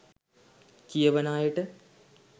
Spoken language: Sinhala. කියවන අයට